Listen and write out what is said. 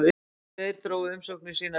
Tveir drógu umsóknir sínar til baka